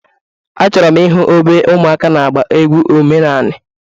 Achọrọ m ịhụ ebe ụmụaka na-agba egwu omenanị.